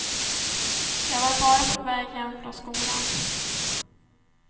Jag var bara på väg hem från skolan.